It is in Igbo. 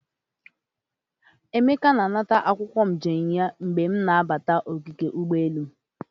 Emeka na anata akwokwo njem ya mgbe m na-abata ogige ugboelu.